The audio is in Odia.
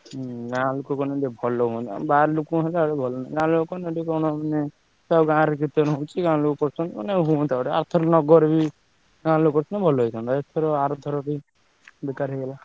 ହୁଁ ଗାଁ ଲୋକ କଲେ ଟିକେ ଭଲ ହୁଅନ୍ତା ହୁଁ ଗାଁ ରେ କୀର୍ତ୍ତନ ହଉଛି ଗାଁ ଲୋକ କରୁଚନା ମାନେ ହୁଅନ୍ତା ମାନେ ଅର୍ଥରକ ନଗର ବି ଗାଁ ଲୋକ କରିଥିଲେ ଭଲ ହୁଅନ୍ତା ଏଥର ଆରଥର ବେକାର ହେଇଗଲା।